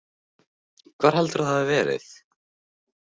Hvar heldurðu að það hafi verið?